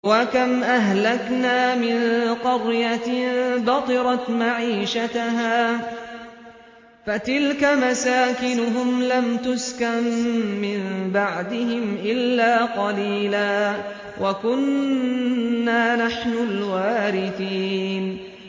وَكَمْ أَهْلَكْنَا مِن قَرْيَةٍ بَطِرَتْ مَعِيشَتَهَا ۖ فَتِلْكَ مَسَاكِنُهُمْ لَمْ تُسْكَن مِّن بَعْدِهِمْ إِلَّا قَلِيلًا ۖ وَكُنَّا نَحْنُ الْوَارِثِينَ